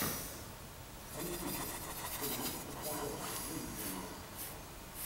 антихрист сильвестр сталлоне выведи мне